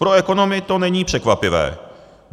Pro ekonomy to není překvapivé.